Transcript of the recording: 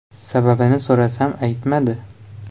Sababini so‘rasam, aytmadi.